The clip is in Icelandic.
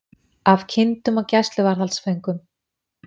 Af kindum og gæsluvarðhaldsföngum